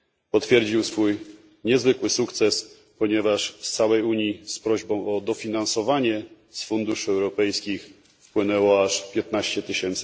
Potwierdził on swój niezwykły sukces, ponieważ z całej Unii z prośbą o dofinansowanie z funduszy europejskich wpłynęło aż 15 tys.